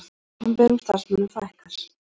Opinberum starfsmönnum fækkar